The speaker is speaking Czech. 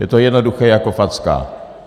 Je to jednoduché jak facka.